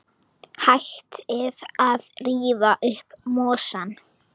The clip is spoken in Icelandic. Hættið að rífa upp mosann.